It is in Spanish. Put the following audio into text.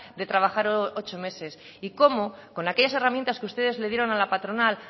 de trabajar ocho meses y cómo con aquellas herramientas que ustedes le dieron a la patronal